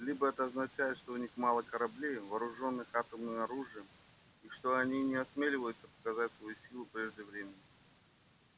либо это означает что у них мало кораблей вооружённых атомным оружием и что они не осмеливаются показывать свою силу прежде времени